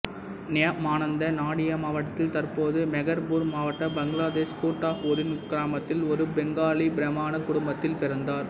நியாமானந்தா நாடியா மாவட்டத்தில் தற்போது மெஹர்பூர் மாவட்ட பங்களாதேஷ் குட்டாபூரின் குக்கிராமத்தில் ஒரு பெங்காலி பிராமண குடும்பத்தில் பிறந்தார்